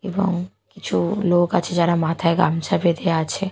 এবং কিছু লোক আছে যারা মাথায় গামছা বেঁধে আছে।